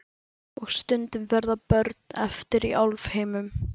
Og stundum verða börn eftir í álfheimum.